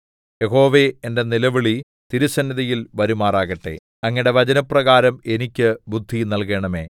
യഹോവേ എന്റെ നിലവിളി തിരുസന്നിധിയിൽ വരുമാറാകട്ടെ അങ്ങയുടെ വചനപ്രകാരം എനിക്ക് ബുദ്ധി നല്കണമേ